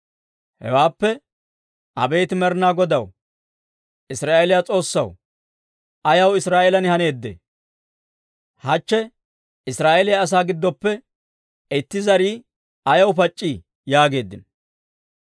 Hewaappe «Abeet Med'inaa Godaw, Israa'eeliyaa S'oossaw, ha yewuu ayaw Israa'eelan haneedee? Hachche Israa'eeliyaa asaa giddoppe itti zarii ayaw pac'c'ii?» yaageeddino.